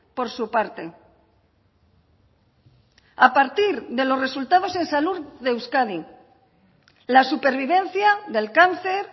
por su parte a partir de los resultados en salud de euskadi la supervivencia del cáncer